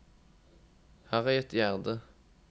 Harriet Gjerde